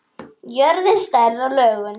Jörðin, stærð og lögun